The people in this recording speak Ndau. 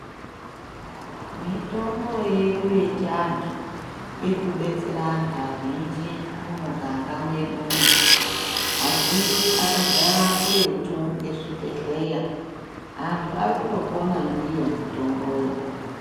Mitombo yedu yechiantu irikubetsera anti azhinji mumuganga mwedumo azhinji akagara kuretu ngezvibhedhlera antu arikundopona ndiyo mitomboyo.